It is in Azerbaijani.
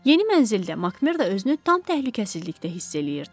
Yeni mənzildə Makmerdo özünü tam təhlükəsizlikdə hiss eləyirdi.